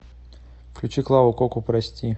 включи клаву коку прости